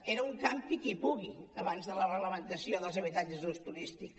era un campi qui pugui abans de la reglamentació dels habitatges d’ús turístic